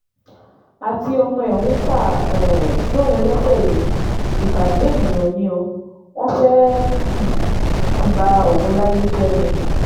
àti ọmọ ẹ̀ ń kà um sóun léṣe yìí ìbàjẹ́ ènìyàn ni o wọ́n fẹ́ẹ́ um fi ba òun láyé jẹ́ ni